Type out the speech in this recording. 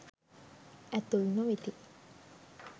ඇතුල් නොවෙති.